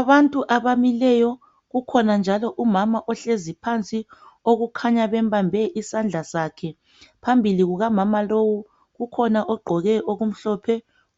Abantu abamileyo. Kukhona njalo umama ohlezi phansi. Okukhanya bembambe isandla sakhe. Phambili kulamamalowu. Ukhona ogqoke okumhlophe